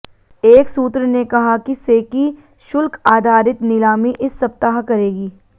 एक सूत्र ने कहा कि सेकी शुल्क आधारित नीलामी इस सप्ताह करेगी